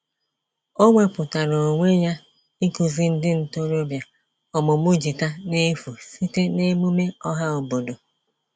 O wepụtara onwe ya ịkụzi ndị ntorobịa ọmụmụ gịta n'efu site n'emume ọhaobodo.